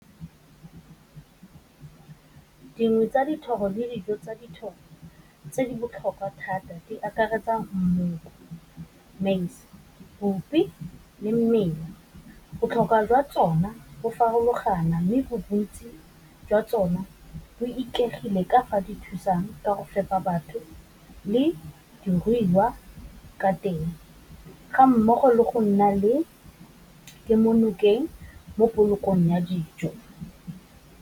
Dingwe tsa dithoro le dijo tsa dithoro tse di botlhokwa thata di akaretsa , maize, bupi, le mmela botlhokwa jwa tsona bo farologana mme bontsi jwa tsone bo ikaegile ka fa di thusang ka go fepa batho le diruiwa ka teng, ga mmogo le go nna le kemonokeng mo polokegong ya dijo.